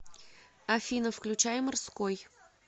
афина включай морской